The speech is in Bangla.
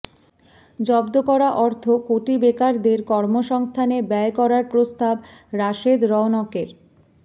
জব্দ করা অর্থ কোটি বেকারদের কর্মসংস্থানে ব্যয় করার প্রস্তাব রাশেদা রওনকের